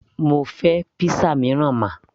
mo fẹ́ pizza mìíràn ma